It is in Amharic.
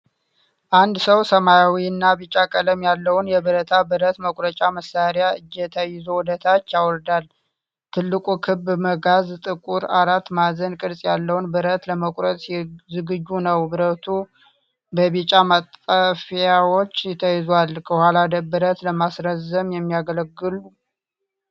አንድ ሰው ሰማያዊና ቢጫ ቀለም ያለውን የብረታ ብረት መቁረጫ መሣሪያ እጀታ ይዞ ወደ ታች ያወርዳል። ትልቁ ክብ መጋዝ ጥቁር አራት ማዕዘን ቅርጽ ያለውን ብረት ለመቁረጥ ዝግጁ ነው። ብረቱ በቢጫ ማጠፊያዎች ተይዟል፣ ከኋላም ብረት ለማስረዘም የሚያገለግሉ።